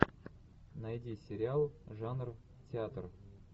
найди сериал жанр театр